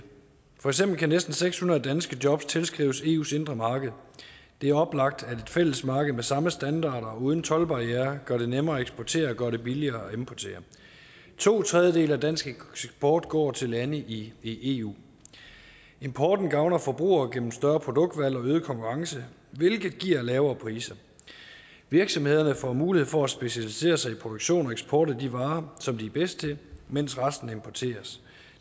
for eksempel kan næsten seks hundrede danske jobs tilskrives eus indre marked det er oplagt at et fælles marked med samme standarder og uden toldbarrierer gør det nemmere at eksportere og gør det billigere at importere to tredjedele af dansk eksport går til lande i i eu importen gavner forbrugerne gennem et større produktudvalg og øget konkurrence hvilket giver lavere priser virksomhederne får mulighed for at specialisere sig i produktion og eksport af de varer som de er bedst til mens resten importeres